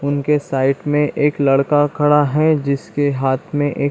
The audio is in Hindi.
उनके साइड में एक लड़का खड़ा है जिस के हाथ में एक --